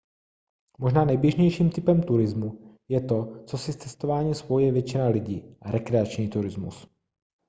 možná nejběžnějším typem turismu je to co si s cestováním spojuje většina lidí rekreační turismus